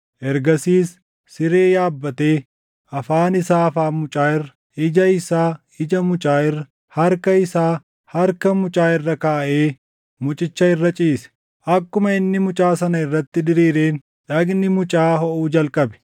Ergasiis siree yaabbatee, afaan isaa afaan mucaa irra, ija isaa ija mucaa irra, harka isaa harka mucaa irra kaaʼee mucicha irra ciise. Akkuma inni mucaa sana irratti diriireen dhagni mucaa hoʼuu jalqabe.